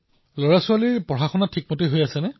লৰাছোৱালীৰ পঢ়াপাতি ঠিকে আছে